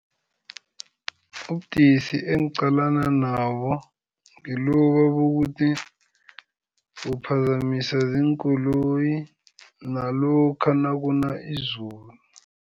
Ubudisi engiqalana nabo ngiloba bokuthi uphazamiswa ziinkoloyi nalokha nakuna izulu.